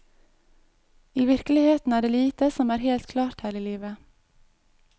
I virkeligheten er det lite som er helt klart her i livet.